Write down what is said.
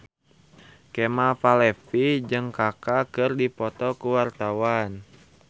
Kemal Palevi jeung Kaka keur dipoto ku wartawan